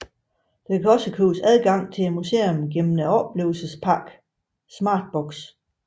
Der kan også købes adgang til museet igennem oplevelspakken Smartbox